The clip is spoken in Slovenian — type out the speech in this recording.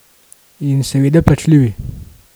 In seveda plačljivi.